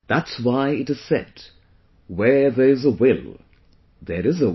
That's why it is said where there is a will, there is a way